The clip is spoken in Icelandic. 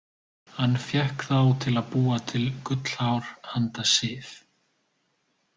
Hann fékk þá til að búa til gullhár handa Sif.